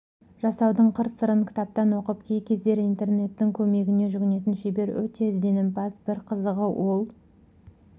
жасаудың қыр-сырын кітаптан оқып кей кездері интернеттің көмегіне жүгінетін шебер өте ізденімпаз бір қызығы ол